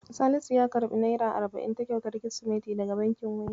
Salisu ya karɓi naira arba'in ta kyautar Kirsimeti daga bankin Wema.